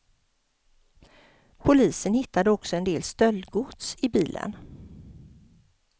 Polisen hittade också en del stöldgods i bilen.